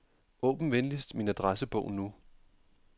Åbn venligst min adressebog nu.